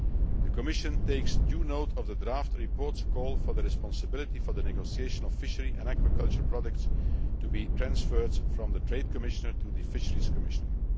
The Commission takes due note of the draft report's call for the responsibility for the negotiation of fishery and aquaculture products to be transferred from the Trade Commissioner to the Fisheries Commissioner.